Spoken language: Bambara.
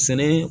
Sɛnɛ